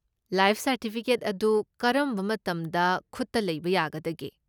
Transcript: Life certificate ꯑꯗꯨ ꯀꯔꯝꯕ ꯃꯇꯝꯗ ꯈꯨꯠꯇ ꯂꯩꯕ ꯌꯥꯒꯗꯒꯦ?